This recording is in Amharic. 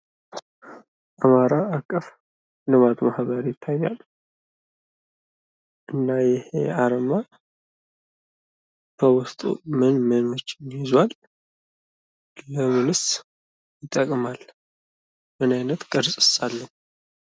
አማራ አቀፍ ልማት ማህበር ይታያል? እና ይህ አርማ በውስጡ ምን ምኖችን ይዟል? ለምንስ ይጠቅማል? ምን አይነት ቅርጽስ አለው?